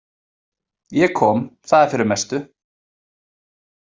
Ég kom, það er fyrir mestu.